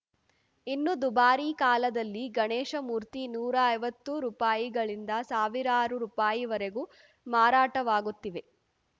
ಇನ್ನು ದುಬಾರಿ ಕಾಲದಲ್ಲಿ ಗಣೇಶಮೂರ್ತಿ ನೂರೈವತ್ತು ರುಪಾಯಿಗಳಿಂದ ಸಾವಿರಾರು ರುಪಾಯಿವರೆಗೆ ಮಾರಾಟವಾಗುತ್ತಿವೆ